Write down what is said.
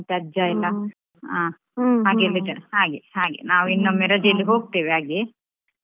ಆ ಅಜ್ಜ ಎಲ್ಲಾ ಹಾ ಹಾಗೆ ಹಾಗೆ ನಾವು ಇನ್ನೊಮ್ಮೆ ರಜೆಯಲ್ಲಿ ಹೋಗ್ತೇವೆ ಹಾಗೆ ಹ್ಮ್ ಆಯ್ತು.